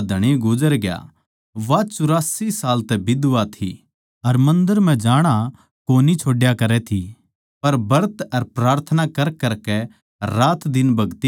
वा चौरासी साल तै बिधवा थी अर मन्दर म्ह जाणा कोनी छोड्या करै थी पर ब्रत अर प्रार्थना करकरकै रातदिन भगति करया करै थी